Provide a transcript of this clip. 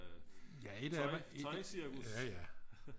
tøjcirkus